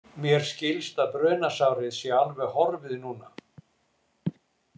Mér skilst að brunasárið sé alveg horfið núna.